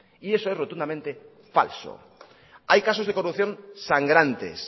y eso es rotundamente falso hay casos de corrupción sangrantes